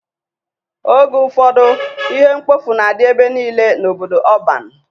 Oge ụfọdụ ihe mkpofu na-adị ebe niile n'obodo ọban.